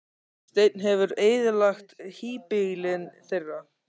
Þessi teinn hefur eyðilagt híbýlin þeirra.